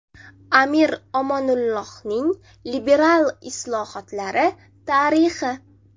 Amir Omonullaxonning liberal islohotlari tarixi.